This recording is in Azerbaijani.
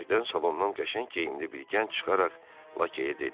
Birdən salondan qəşəng geyimli bir gənc çıxaraq Lakeyə dedi.